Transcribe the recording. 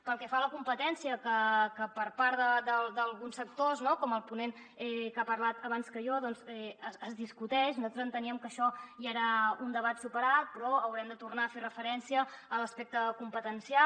pel que fa a la competència que per part d’alguns sectors no com el ponent que ha parlat abans que jo doncs es discuteix nosaltres enteníem que això ja era un debat superat però haurem de tornar a fer referència a l’aspecte competencial